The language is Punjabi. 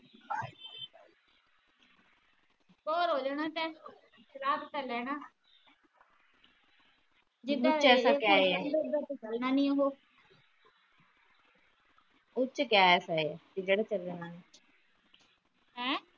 ਬੋਰ ਹੋ ਜਾਣਾ ਤੇ ਚਲਾ ਤੇ ਲੈਣਾ ਉਚ ਗੈਸ ਏ ਕੇ ਜਿਹੜਾ ਚਲਣਾ ਨਹੀਂ